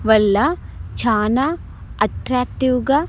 వల్ల చానా అట్ట్రాక్టీవ్ గా.